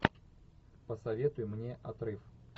посоветуй мне отрыв